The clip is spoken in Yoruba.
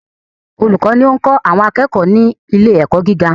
Olùkọ́ ni ó ń kọ́ àwọn akẹ́kọ̀ọ́ ni ilé ẹ̀kọ́ gíga.